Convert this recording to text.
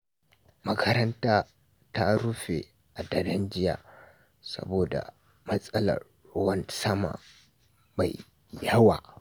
Makaranta ta rufe a daren jiya saboda matsalar ruwan sama mai yawa.